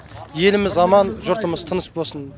еліміз аман жұртымыз тыныш болсын